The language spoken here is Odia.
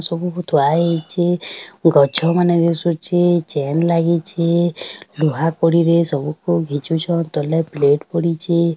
ସବୁକୁ ଥୁଆ ହେଇଛୁ ଗଛମାନେ ଦିଶୁଛି ଚେନ୍ ଲାଗିଛି ଲୁହା କଡିରେ ସବୁକୁ ଭିଜୁଛନ୍ ତଲେ ପ୍ଲେଟ ପଡିଚି ।